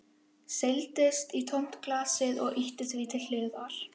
Seildist í tómt glasið og ýtti því til hliðar.